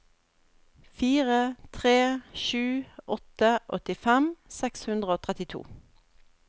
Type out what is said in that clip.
fire tre sju åtte åttifem seks hundre og trettito